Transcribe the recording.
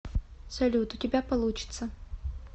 салют у тебя получится